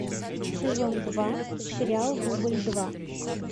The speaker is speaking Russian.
сезон два сериал дубль два